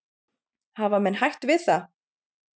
Hafa menn hætt við það?